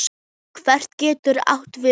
Hvarf getur átt við